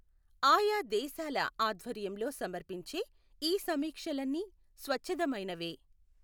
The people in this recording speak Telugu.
ఆయా దేశాల ఆధ్వర్యంలో సమర్పించే ఈ సమీక్షలన్నీ స్వచ్ఛదమైనవే.